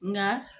Nka